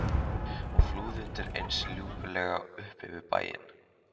Hann flúði undir eins lúpulegur upp fyrir bæinn.